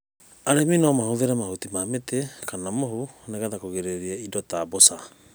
arĩmĩ no matũmĩre mahũtĩ ma mĩtĩ, kana mũhũ nĩgetha kũrĩgĩrĩrĩa ĩndo ta mbũca